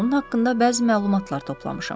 Onun haqqında bəzi məlumatlar toplamışam.